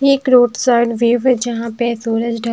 ये एक road side view है जहां पे सूरज ढ--